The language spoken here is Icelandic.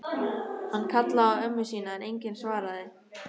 Hann kallaði á ömmu sína en enginn svaraði.